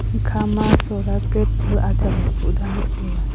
ekhama solar plate ajam tekuh danlah e taiya.